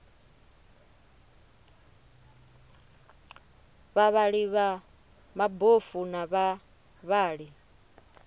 vhavhali vha mabofu na vhavhali